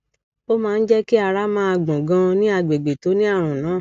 ó máa ń jẹ kí ara máa gbọn ganan ní àgbègbè tó ní ààrùn náà